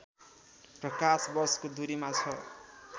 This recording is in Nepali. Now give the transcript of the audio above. प्रकाश वर्षको दूरीमा छ